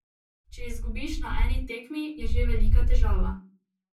Če izgubiš na eni tekmi, je že velika težava.